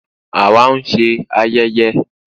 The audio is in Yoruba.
Àwá nse ayeye "ogo of Afikpo"